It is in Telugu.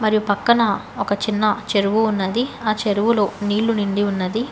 యు పక్కన ఒక చిన్న చెరువు ఉన్నది ఆ చెరువులో నీళ్లు నిండి ఉన్నది.